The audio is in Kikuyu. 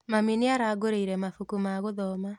Mami nĩarangũrĩire mabuku ma gũthoma